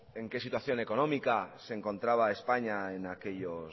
en qué situación económica se encontraba españa